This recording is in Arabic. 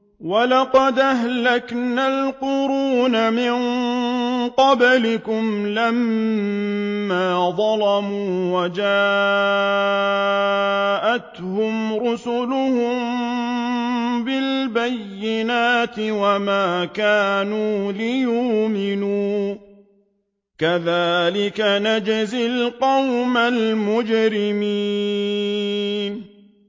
وَلَقَدْ أَهْلَكْنَا الْقُرُونَ مِن قَبْلِكُمْ لَمَّا ظَلَمُوا ۙ وَجَاءَتْهُمْ رُسُلُهُم بِالْبَيِّنَاتِ وَمَا كَانُوا لِيُؤْمِنُوا ۚ كَذَٰلِكَ نَجْزِي الْقَوْمَ الْمُجْرِمِينَ